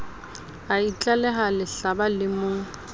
a itlaleha lehlaba le mo